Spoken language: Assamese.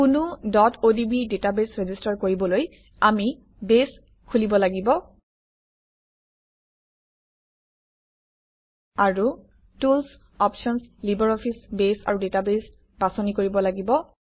কোনো odb ডাটাবেছ ৰেজিষ্টাৰ কৰিবলৈ আমি বেছ খোলিব লাগিব আৰু টুলচ্ অপশ্যনচ্ লিবাৰঅফিছ বেছ আৰু ডাটাবেছ বাছনি কৰিব লাগিব